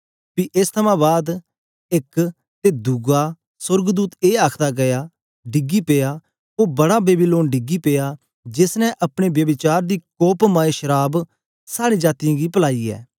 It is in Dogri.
पी एस थमां बाद एक अते दुआ सोर्गदूत ए आखदा आया डिगी पेया ओ बड़ा बेबीलोन डिगी पेया जेस ने अपने ब्यभिचार दी कोपमय शराव साड़े जातीयें गी पलाई ऐ